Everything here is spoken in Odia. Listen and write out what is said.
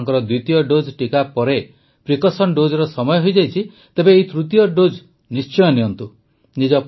ଯଦି ଆପଣଙ୍କର ଦ୍ୱିତୀୟ ଡୋଜ୍ ଟିକା ପରେ ପ୍ରିକସନ୍ ଡୋଜର ସମୟ ହୋଇଯାଇଛି ତେବେ ଏହି ତୃତୀୟ ଡୋଜ୍ ନିଶ୍ଚୟ ନିଅନ୍ତୁ